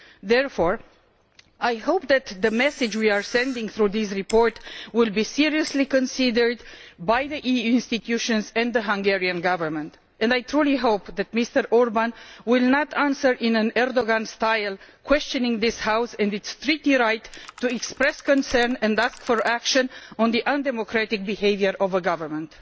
Therefore I hope that the message we are sending through this report will be seriously considered by the EU institutions and the Hungarian Government. I truly hope that Mr Orbán will not answer in an arrogant style, questioning this House and its treaty right to express concern and ask for action on the undemocratic behaviour of a government.